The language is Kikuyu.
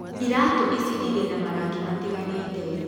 Iratũ ici Irĩ na marangi matiganĩte.